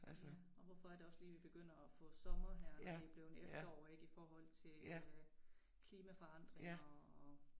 Ja og hvorfor er det også lige vi begynder at få sommer her når det blevet efterår ik i forhold til øh klimaforandringer og